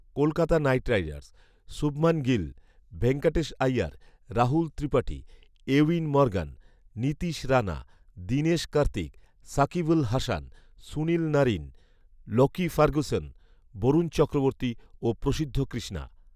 Kolkata Knight Riders, Shubman Gill, Venkatesh Iyer, Rahul Tripathi, Eoin Morgan, Nitish Rana, Dinesh Karthik, Shakib Al Hasan, Sunil Narine, Lockie Ferguson, Varun Chakravarthy ও প্রশিদ্ধ কৃষ্ণা